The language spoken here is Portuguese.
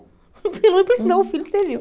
Pelo menos para ensinar o filho, serviu.